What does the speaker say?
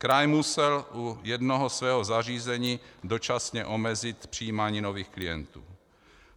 Kraj musel u jednoho svého zařízení dočasně omezit přijímání nových klientů.